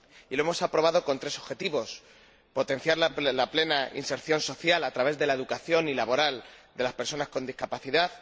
Lo hemos aprobado con tres objetivos potenciar la plena inserción social, a través de la educación, y la inserción laboral de las personas con discapacidad